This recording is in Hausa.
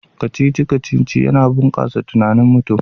Kacici-kacici yana bunkasa tunanin mutum